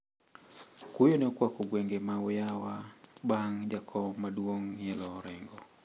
Kuyo ne okwako gwenge ma Uyawa bang` jakom maduong` ng`ielo orengo.